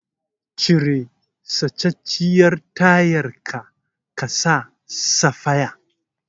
Cire sacacciyar tayar ka saka safaya.